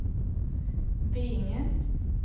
Veinge